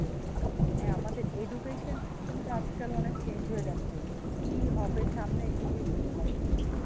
হ্যাঁ আমাদের education system টা আজকাল অনেক change হয়ে যাচ্ছে, কি হবে সামনে কিছুই বুঝতে পারছি না।